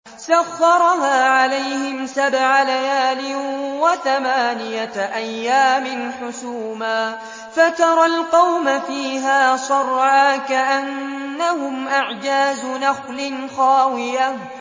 سَخَّرَهَا عَلَيْهِمْ سَبْعَ لَيَالٍ وَثَمَانِيَةَ أَيَّامٍ حُسُومًا فَتَرَى الْقَوْمَ فِيهَا صَرْعَىٰ كَأَنَّهُمْ أَعْجَازُ نَخْلٍ خَاوِيَةٍ